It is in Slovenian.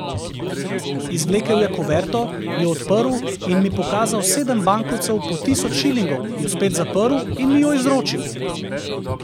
Izvlekel je kuverto, jo odprl in mi pokazal sedem bankovcev po tisoč šilingov, jo spet zaprl in mi jo izročil.